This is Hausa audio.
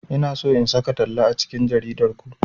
Ina so in saka talla a cikin jaridar ku.